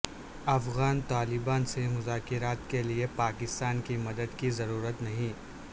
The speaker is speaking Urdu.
افغان طالبان سے مذاکرات کیلئے پاکستان کی مدد کی ضرورت نہیں